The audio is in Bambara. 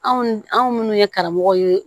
Anw anw minnu ye karamɔgɔ ye